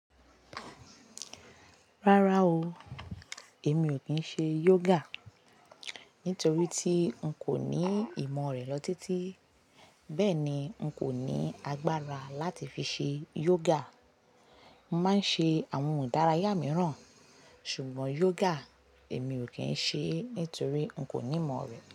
Rárá o, èmi o kí n ṣe yoga nítorí tí n kò ní ìmọ̀ rẹ̀ lọ títí, bẹ́ẹ̀ ni n kò ní agbára láti fi ṣe yoga. Mo máa ń ṣe àwọn idárayá mìíràn, ṣùgbọ́n yoga èmi o kín ṣe nítorí n kò ní ìmọ̀ rẹ̀